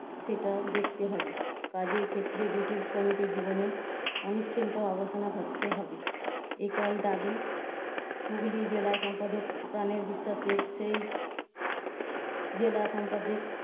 সেটা দেখতে হবে। কাজের ক্ষেত্রে জটিল শ্রমিকের জীবনে ণিশ্চিন্তার অবসান ঘটতে হবে একই দাবী। হুগলি জেলা সম্পাদক প্রাণের বিস্বাসের সেই জেলা সম্পাদক